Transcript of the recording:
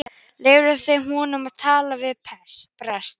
Leyfðu þeir honum að tala við prest?